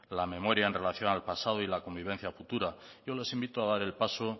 la memoria en relación al pasado y la convivencia futura yo les invito a dar el paso